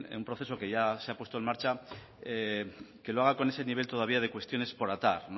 que un proceso que ya se ha puesto en marcha que lo haga con ese nivel todavía de cuestiones por atar